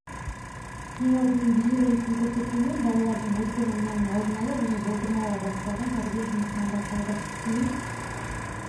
ең алдымен бейнероликтің көрсетілуімен балалардың отпен ойнауын алдын алу және болдырмауға бағытталған тәрбие жұмысынан басталды кейін